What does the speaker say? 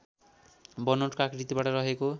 बनोटको आकृतिबाट रहेको